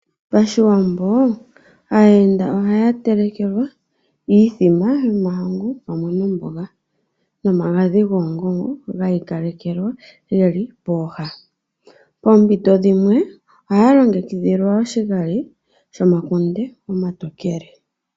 PaShiwambo aayenda ohaya telekelwa iithima yomahangu mumwe nomboga nomagadhi goongongo ga ikalekelwa geli pooha. Poompito dhimwe ohaya longekidhilwa oshigali shomakunde omatokele.